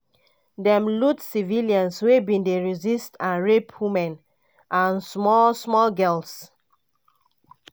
dem loot kill civilians wey bin dey resist and rape women and small-small girls".